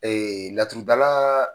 Ee laturudala